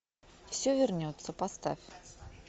все вернется поставь